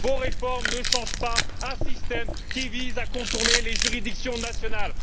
Vos réformes ne changent pas un système qui vise à contourner les juridictions nationales.